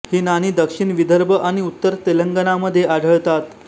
ही नाणी दक्षिण विदर्भ आणि उत्तर तेलंगणामध्ये आढळतात